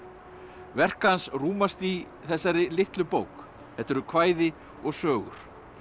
verk hans rúmast í þessari litlu bók þetta eru kvæði og sögur